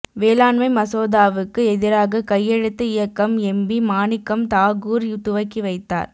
வேளாண்மை மசோதாவுக்கு எதிராக கையெழுத்து இயக்கம் எம்பி மாணிக்கம் தாகூர் துவக்கி வைத்தார்